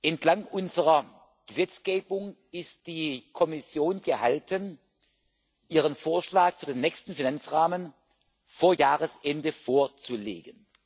Entlang unserer Gesetzgebung ist die Kommission gehalten, ihren Vorschlag für den nächsten Finanzrahmen vor Jahresende vorzulegen.